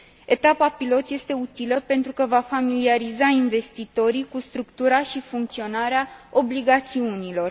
Etapa pilot este utilă pentru că va familiariza investitorii cu structura și funcționarea obligațiunilor.